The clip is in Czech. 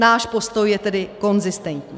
Náš postoj je tedy konzistentní.